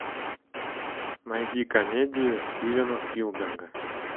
найди комедию стивена спилберга